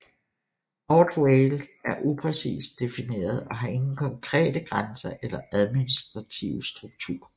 North Wales er upræcist defineret og har ingen konkrete grænser eller administrativ struktur